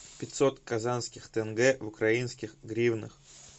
пятьсот казахских тенге в украинских гривнах